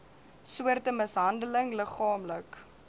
soorte mishandeling liggaamlik